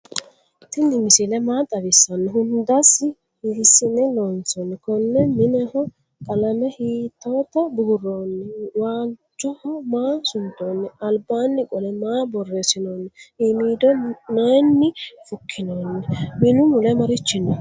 tini misile maa xawisano? hundasi hisine loonsoni? kone mineho qalame hitota buuroni? walchoho maa suntoni? albani qole maa borresinoni? iimido nayini fuukinoni? minu mule marichi no?